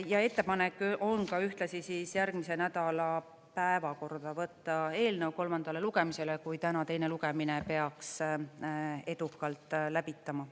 Ja ettepanek on ühtlasi järgmise nädala päevakorda võtta eelnõu kolmandale lugemisele, kui täna teine lugemine peaks edukalt läbitama.